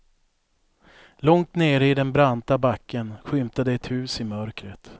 Långt nere i den branta backen skymtade ett hus i mörkret.